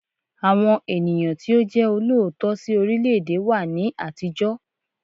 Àwọn ènìyàn tí ó jẹ́ olóòótọ́ sí orílẹ̀ẹ̀dè wà ní àtijọ́.